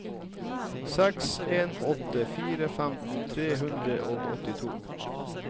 seks en åtte fire femten tre hundre og åttito